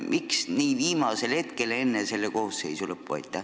Miks see tuli nii viimasel hetkel enne koosseisu lõppu?